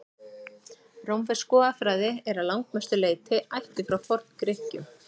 rómversk goðafræði er að langmestu leyti ættuð frá forngrikkjum